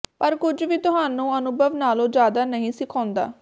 ਪਰ ਕੁਝ ਵੀ ਤੁਹਾਨੂੰ ਅਨੁਭਵ ਨਾਲੋਂ ਜ਼ਿਆਦਾ ਨਹੀਂ ਸਿਖਾਉਂਦਾ